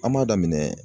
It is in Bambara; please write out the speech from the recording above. An b'a daminɛ